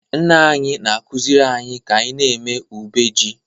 Nna anyị na-akụziri anyị ka anyị na-eme ube ji